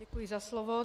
Děkuji za slovo.